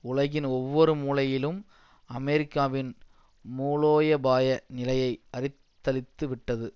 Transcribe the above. உலகின் ஒவ்வொரு மூலையிலும் அமெரிக்காவின் மூலோயபாய நிலையை அரித்தழித்து விட்டது